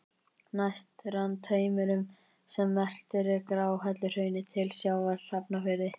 Næst rann taumurinn sem merktur er Gráhelluhraun til sjávar í Hafnarfirði.